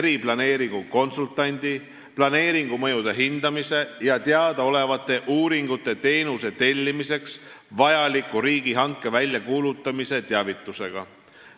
eriplaneeringu konsultandi, planeeringu mõjude hindamise ja teadaolevate uuringute teenuse tellimiseks vajaliku riigihanke väljakuulutamise teavitusega.